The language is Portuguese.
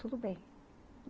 Tudo bem.